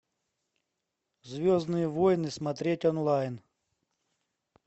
звездные войны смотреть онлайн